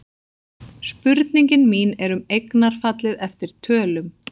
Spurningin mín er um eignarfallið eftir tölum.